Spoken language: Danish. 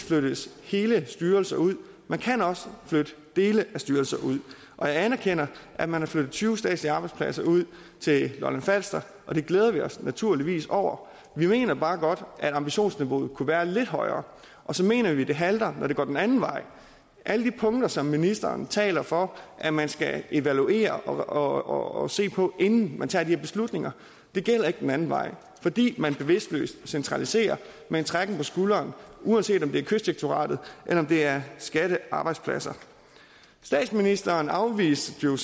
flyttes hele styrelser ud man kan også flytte dele af styrelser ud jeg anerkender at man har flyttet tyve statslige arbejdspladser ud til lolland falster og det glæder vi os naturligvis over vi mener bare godt at ambitionsniveauet kunne være lidt højere og så mener vi det halter når det går den anden vej alle de punkter som ministeren taler for at man skal evaluere og se på inden man tager de her beslutninger gælder ikke den anden vej fordi man bevidstløst centraliserer med en trækken på skulderen uanset om det er kystdirektoratet eller det er skattearbejdspladser statsministeren afviste jo